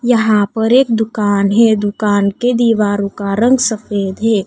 यहां पर एक दुकान है दुकान के दीवारों का रंग सफेद है।